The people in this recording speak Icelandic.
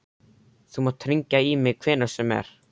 Þú mátt hringja í mig hvenær sem er.